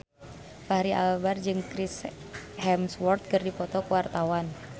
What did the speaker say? Fachri Albar jeung Chris Hemsworth keur dipoto ku wartawan